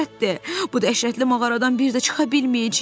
Bu dəhşətli mağaradan bir də çıxa bilməyəcəyik.